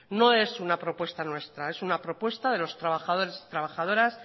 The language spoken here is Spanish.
no es una propuesta nuestra es una propuesta de los trabajadores y trabajadoras